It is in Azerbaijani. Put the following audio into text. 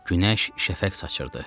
Günəş şəfəq saçırdı.